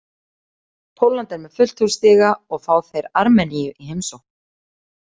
Pólland er með fullt hús stiga og fá þeir Armeníu í heimsókn.